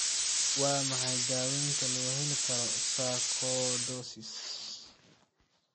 Waa maxay daawaynta loo heli karo sarcoidosis?